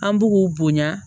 An b'u k'u bonya